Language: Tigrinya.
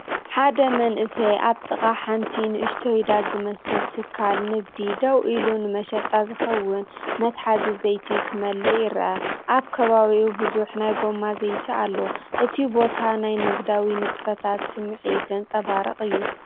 ሓደ መንእሰይ ኣብ ጥቓ ሓንቲ ንእሽቶ ዳስ ዝመስል ትካል ንግዲ ደው ኢሉ ንመሸጣ ዝኸውን መትሓዚ ዘይቲ ክመልእ ይርአ። ኣብ ከባቢኡ ብዙሕ ናይ ጎማ ዘይቲ ኣሎ። እቲ ቦታ ናይ ንግዳዊ ንጥፈታት ስምዒት ዘንጸባርቕ እዩ።